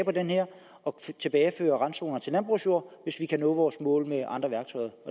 og tilbageføre randzonerne til landbrugsjord hvis vi altså kan nå vores mål med andre værktøjer